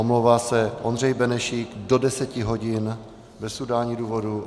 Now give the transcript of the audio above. Omlouvá se Ondřej Benešík do 10 hodin bez udání důvodu.